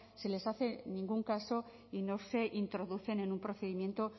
se les hace ningún caso y no se introducen en un procedimiento